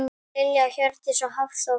Lilja Hjördís og Hafþór.